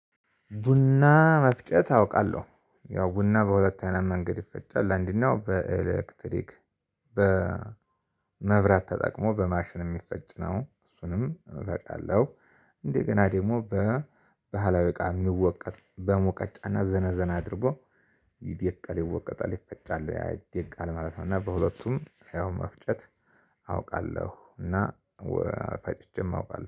ቡና መፍጨት አውቃለሁ ያው ቡና በሁለት አይነት መንገድ ይፈጫል ለአንድናው በኤሌክትሪክ በመብራት ተጠቅሞ በማሽን የሚፈጭ ነው እሱንም እፈጫለሁ። እንደገና ደግሞ በባህላዊ እቃ የሚወቀጥ በሞቀጫና ዘነዘና አድርጎ ይደቃል ይወቀጣል ይፈጫል ያይደቃል ማለት ነው። እና በሁለቱም ያው መፍጨት አውቃለሁ እና ወ ፈጭቼም አውቃለሁ